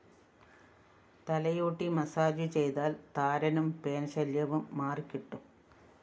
തലയോട്ടി മസാജു ചെയ്താല്‍ താരനും പെൻ ശൈല്യവും മാറികിട്ടും